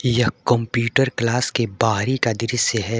यह computer class के बाहरी का दृश्य है।